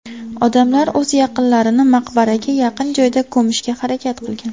Odamlar o‘z yaqinlarini maqbaraga yaqin joyda ko‘mishga harakat qilgan.